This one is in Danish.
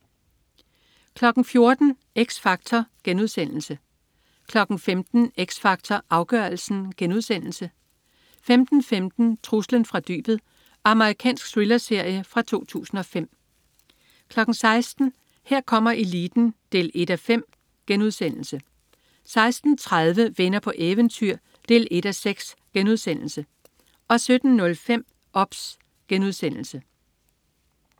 14.00 X Factor* 15.00 X Factor Afgørelsen* 15.15 Truslen fra dybet. Amerikansk thrillerserie fra 2005 16.00 Her kommer eliten 1:5* 16.30 Venner på eventyr 1:6* 17.05 OBS*